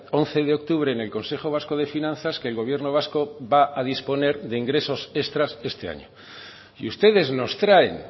once de octubre en el consejo vasco de finanzas que el gobierno vasco va a disponer de ingresos extras este año y ustedes nos traen